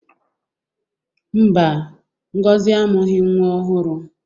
Mba, Ngozi amụghị nwa ọhụrụ.